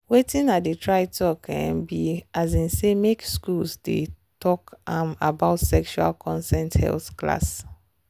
watin i dey try talk um be um say make school dey talk um about sexual consent health class.